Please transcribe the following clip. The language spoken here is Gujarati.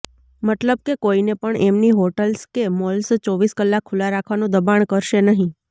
મતલબ કે કોઈને પણ એમની હોટલ્સ કે મોલ્સ ચોવીસ કલાક ખુલ્લાં રાખવાનું દબાણ કરસે નહીં